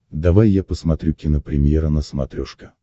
давай я посмотрю кинопремьера на смотрешке